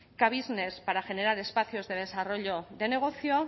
k business para generar espacios de desarrollo de negocio